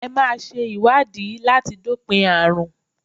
Ẹ máa ṣe ìwádìí láti dópin àrùn.